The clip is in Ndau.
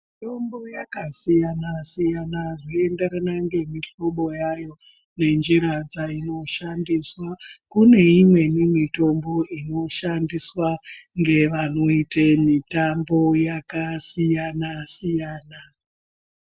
Mitombo yakasiyana siyana zvichienderana nemihlobo yayo nenjira dzinoshandiswa kune imweni mitombo inoshandiswa nevanoita mitambo yakasiyana siyana.